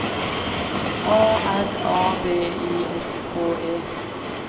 A R A B I S K E